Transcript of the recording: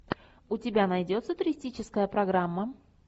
у тебя найдется туристическая программа